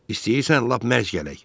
İstəyirsən lap mərc gələk.